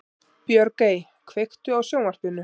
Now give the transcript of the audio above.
Björgey, kveiktu á sjónvarpinu.